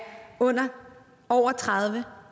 over tredive